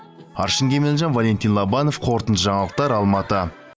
аршын кемелжан валентин лобанов қорытынды жаңалықтар алматы